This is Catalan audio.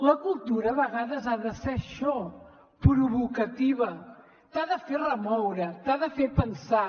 la cultura a vegades ha de ser això provocativa t’ha de fer remoure t’ha de fer pensar